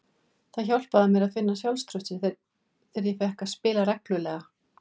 Það hjálpaði mér að finna sjálfstraustið og ég fékk að spila reglulega.